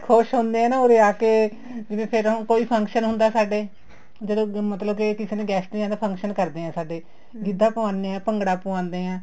ਖ਼ੁਸ਼ ਹੁੰਦੇ ਹੈ ਨਾ ਉਰੇ ਆਕੇ ਜਿਵੇ ਫ਼ੇਰ ਹੁਣ ਕੋਈ function ਹੁੰਦਾ ਸਾਡੇ ਜਦੋਂ ਮਤਲਬ ਕੇ ਕਿਸੇ ਨੇ guest ਨੇ ਆਣਾ function ਕਰਦੇ ਹੈ ਸਾਡੇ ਗਿੱਧਾ ਪਾਉਣੇ ਹੈ ਭੰਗੜਾ ਪਾਉਦੇ ਹੈ